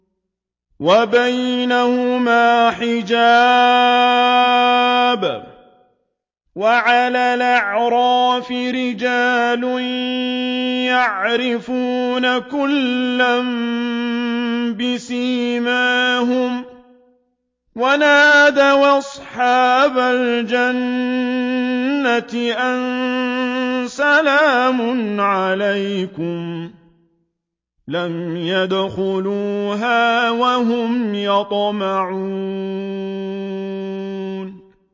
وَبَيْنَهُمَا حِجَابٌ ۚ وَعَلَى الْأَعْرَافِ رِجَالٌ يَعْرِفُونَ كُلًّا بِسِيمَاهُمْ ۚ وَنَادَوْا أَصْحَابَ الْجَنَّةِ أَن سَلَامٌ عَلَيْكُمْ ۚ لَمْ يَدْخُلُوهَا وَهُمْ يَطْمَعُونَ